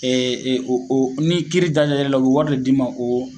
Ɛ ɛ o o ni kiiri da jara e la o be wari de d'i ma o